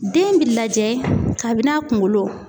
Den bi lajɛ kabi n'a kunkolo.